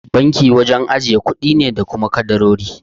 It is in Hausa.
Banki wajen ajiye kuɗi ne da kuma kadarori.